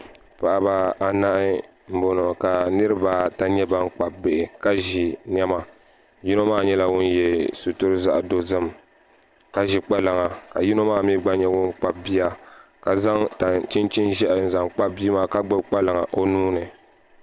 Paɣaba anahi n boŋo ka niraba ata nyɛ ban kpabi bihi ka ʒi niɛma yino maa nyɛla ŋun yɛ sitiri zaɣ dozim ka ʒi kpalaŋa ka yino maa mii gba nyɛ ŋun kpabi bia ka zaŋ chinchin ʒiɛhi n zaŋ kpabi bia maa ka gbubi kpalaŋa o nuuni